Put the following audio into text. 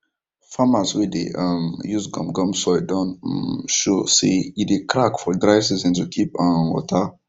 farmers wey dey um use gum gum soil don um show say e dey crack for dry season to keep um water